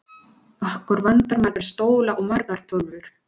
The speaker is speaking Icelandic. Okkur vantar marga stóla og margar tölvur.